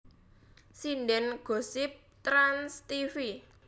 Sinden Gosip Trans Tv